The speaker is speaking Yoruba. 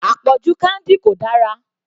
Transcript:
Àpọ̀jù candy kò dára.